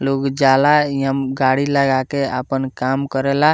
लोग जाला इहम गाड़ी लगाके आपन काम करेला।